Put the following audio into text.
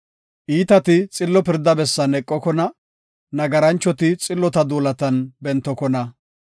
Iitati xillo pirda bessan eqokona; nagaranchoti xillota duulatan bentokona.